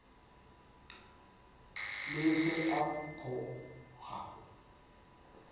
le ge a pho ga